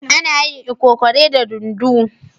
Ana yin lkokore da dunduu.